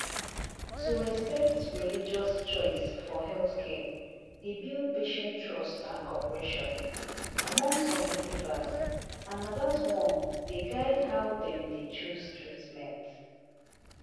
to respect religious choice for healthcare dey build patient trust and cooperation among some believers and na that one dey guide how dem deychoose treatment